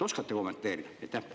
Oskate kommenteerida?